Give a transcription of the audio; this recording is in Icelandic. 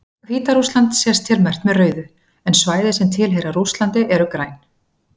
Hvíta-Rússland sést hér merkt með rauðu, en svæði sem tilheyra Rússlandi eru græn.